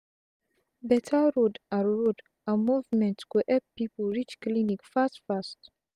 beta road and road and movement go epp pipu reach clinic fast fast